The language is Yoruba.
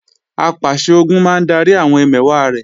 Apàṣẹ-Ogun máa ń darí àwọn ẹmẹ̀wà rẹ̀